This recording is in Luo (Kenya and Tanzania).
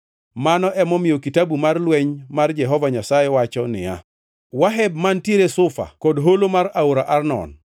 Mano emomiyo Kitabu mar Lweny mar Jehova Nyasaye wacho niya, “Waheb mantiere Sufa kod holo mar aora Arnon,